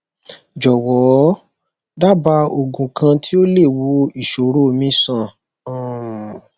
jọwọ daba oogun kan ti o le wo iṣoro mi sàn um